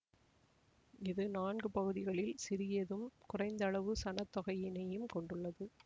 இது நான்கு பகுதிகளில் சிறியதும் குறைந்தளவு சனத் தொகையிணையும் கொண்டுள்ளது